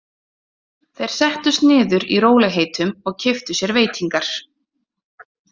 Þeir settust niður í rólegheitum og keyptu sér veitingar.